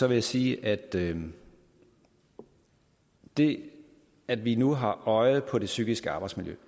jeg sige at det det at vi nu har øjet på det psykiske arbejdsmiljø